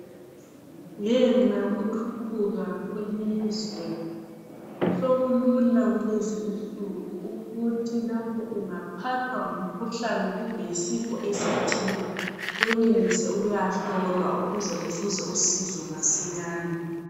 Ngenxa yokuthuthuka kwelizwe, sokulula kulezi insuku ukuthi lapho ungaphathwa ngumkhuhlane kumbe yisifo esithile wenelise ukuyahlolwa ukuze uzuze usizo masinyane.